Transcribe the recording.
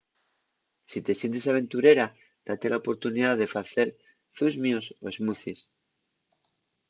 si te sientes aventurera date la oportunidá de facer zusmios o smoothies